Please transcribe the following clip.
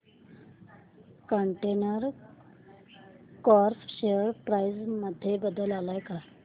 container corp share price मध्ये बदल आलाय का